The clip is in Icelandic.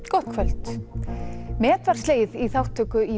gott kvöld met var slegið í þátttöku í